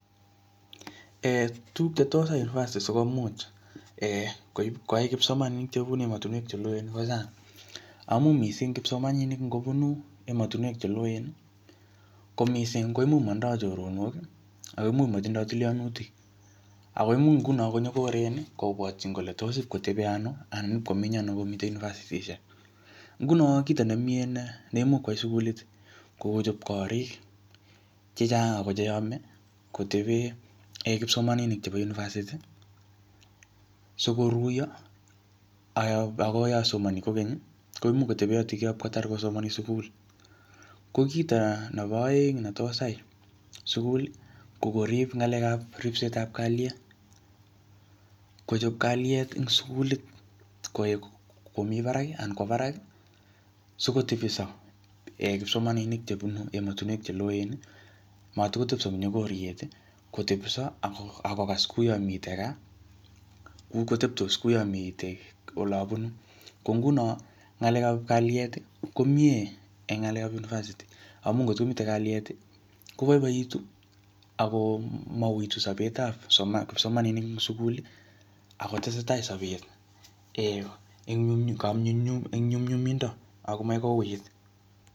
ee tuguk chetos yaii unipasiti sikomuch ee koib koyai kipsomaninik chebunu emotinwek cheloeen bo sang amun mising kipsomaninik ngo bunu emotinwek cheloen mising koimuch motindoi choronok akoimuch motindo tilyonutik akoimuch ngunon konyokoren kobwotin kole toss ipkoteben ano anan komeny ano komi unipasitishek ngunon kito nemie neimuch koyai sugulit kokochob korik chechang ako cheyome koteben kipsomaninik chebo unipasiti sikoruyo ako yon somoni kokeny koimuch koteben yutok ipkotar kosomoni en sugul ko kito nebo oeng nitos yai sugul kokorib ngalekap ribsetab kaliet kochop kaliet en sugulit koik komi barak anan kwo baraki sikotebiso en kipsomaninik chebunu emotinwek cheloen mat kotebso en konyokoriet kotebso akokas kouyon miten kaa kotebsos kouyon miten olon bunu ko ngunon ngalekap kalieti komie komie en ngalekap unipasiti amun ngot komiten kalieti koboiboitu ako mouitu sobetab kipsomaninik en suguli ako tesetai sobet een en konyunyumindo akomoe kouit